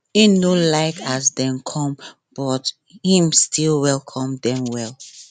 im no like as dem come but him still welcome dem well